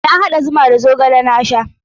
Na haɗa zuma da zogale na sha.